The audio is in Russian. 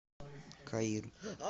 каир